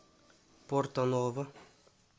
порто ново